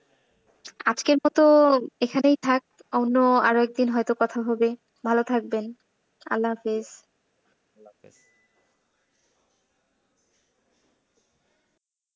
মানে আপনার, আজকের মতো এখানেই থাক, অন্য আরেকদিন হয়তো কথা হবে, ভালো থাকবেন। আল্লাহ হাফেজ।